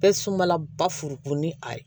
Bɛɛ sumala ba furuko ni a ye